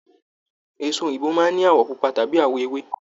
Èso òyìnbó máa n ní awọ pupa tàbí awọ ewé.